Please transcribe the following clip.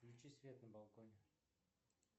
включи свет на балконе